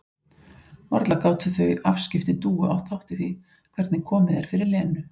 Varla gátu þau afskipti Dúu átt þátt í því hvernig komið er fyrir Lenu?